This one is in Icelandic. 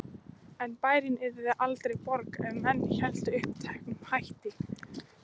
En bærinn yrði aldrei borg ef menn héldu uppteknum hætti.